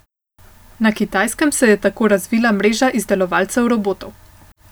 Na Kitajskem se je tako razvila mreža izdelovalcev robotov.